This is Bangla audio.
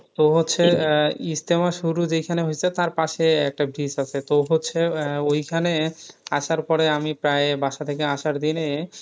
তো হচ্ছে ইজতেমা শুরু যেইখানে হয়ছে তার পাসে একটা bridge আছে। তো হচ্ছে আহ ঐখানে আসার পরে আমি প্রায় বাসার থেকে আসার দিনে,